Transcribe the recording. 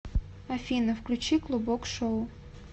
афина включи клубок шоу